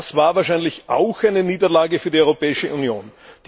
Das war wahrscheinlich auch eine Niederlage für die Europäische Union.